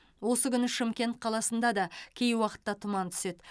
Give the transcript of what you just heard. осы күні шымкент қаласында да кей уақытта тұман түседі